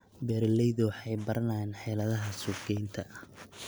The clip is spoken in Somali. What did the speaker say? Beeraleydu waxay baranayaan xeeladaha suuqgeynta.